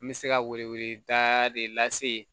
N bɛ se ka weleweleda de lase yen